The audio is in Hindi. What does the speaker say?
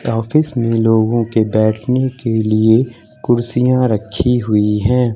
ऑफिस में लोगों के बैठने के लिए कुर्सियां रखी हुई हैं।